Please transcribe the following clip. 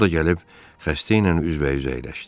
O da gəlib xəstə ilə üz-bə-üz əyləşdi.